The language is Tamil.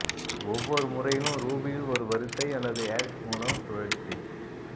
ஒவ்வொரு முறையிலும் ரூபியில் ஒரு வரிசை அல்லது ஹேஷ் மூலம் சுழற்சி